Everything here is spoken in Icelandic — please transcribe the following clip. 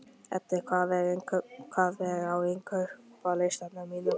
Eddi, hvað er á innkaupalistanum mínum?